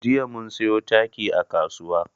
Jiya mun siyo taki a kasuwa.